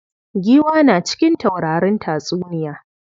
Giwa na cikin taurarin tatsuniya.